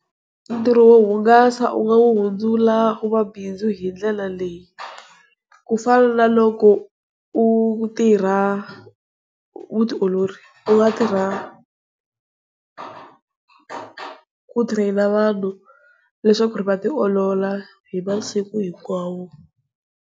Ntirho wo hungasa u nga wu hundzula wu va bindzu hindlela leyi, ku fana na loko u tirha vu tiolori u nga tirha ku train-a vanhu leswaku va tiolola hi masiku hinkwawo.